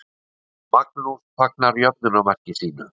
Magnús fagnar jöfnunarmarki sínu.